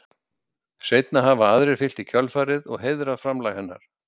seinna hafa aðrir fylgt í kjölfarið og heiðrað framlag hennar